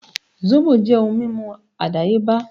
Sóbò jẹ́ ohun mímu àdáyébá